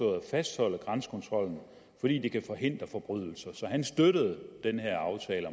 at fastholde grænsekontrollen fordi det kan forhindre forbrydelser så han støttede den her aftale